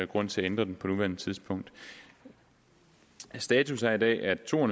grund til at ændre den på nuværende tidspunkt status er i dag at to